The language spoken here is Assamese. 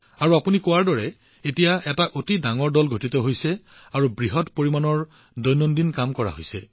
আৰু আপুনি আমাক কোৱাৰ দৰে এতিয়া এটা বিশাল দল গঠন কৰা হৈছে আৰু আপুনি দৈনিক ইমান বৃহৎ পৰিমাণৰ কাম কৰি আছে